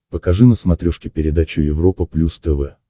покажи на смотрешке передачу европа плюс тв